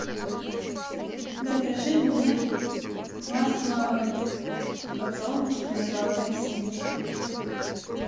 закажи мне масло подсолнечное золотая семечка